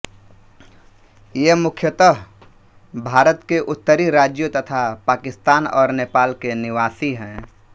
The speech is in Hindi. ये मुख्यतः भारत के उत्तरी राज्यों तथा पाकिस्तान और नेपाल के निवासी हैं